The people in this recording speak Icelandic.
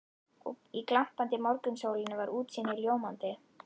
Í glampandi morgunsólinni var útsýnið ljómandi.